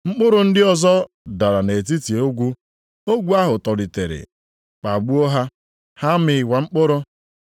Mkpụrụ ndị ọzọ dara nʼetiti ogwu; ogwu ahụ tolitere kpagbuo ha. Ha amịkwaghị mkpụrụ.